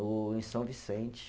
o, em São Vicente.